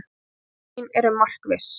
Orð mín eru markviss.